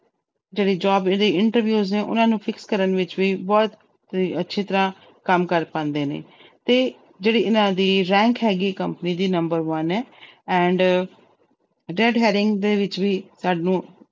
ਜਿਹੜੇ job ਇਹਦੇ interviews ਨੇ ਉਹਨਾਂ ਨੂੰ fix ਕਰਨ ਵਿੱਚ ਬਹੁਤ ਹੀ ਅੱਛੀ ਤਰ੍ਹਾਂ ਕੰਮ ਕਰ ਪਾਉਂਦੇ ਨੇ, ਤੇ ਜਿਹੜੀ ਇਹਨਾਂ ਦੀ rank ਹੈਗੀ company ਦੀ number one ਹੈ and ਦੇ ਵਿੱਚ ਵੀ ਸਾਨੂੰ